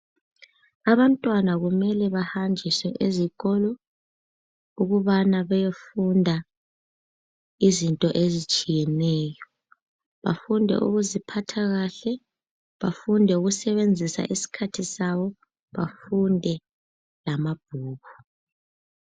Abantwana kumele bahanjiswe ezikolo ukubana bayefunda izinto ezitshiyeneyo, bafunde ukuziphathakahle, bafunde ukusebenzisa isikhathi sabo bafunde lamabhuku.